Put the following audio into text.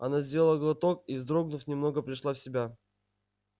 она сделала глоток и вздрогнув немного пришла в себя